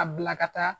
A bila ka taa